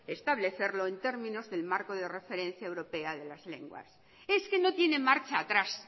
establecerlo en términos del marco de referencia europea de las lenguas es que no tiene marcha atrás